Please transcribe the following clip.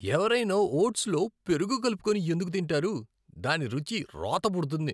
ఎవరైనా ఓట్స్లో పెరుగు కలుపుకొని ఎందుకు తింటారు? దాని రుచి రోత పుడుతుంది.